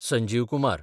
Sanjeev Kumar